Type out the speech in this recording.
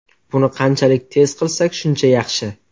Buni qanchalik tez qilsak shuncha yaxshi.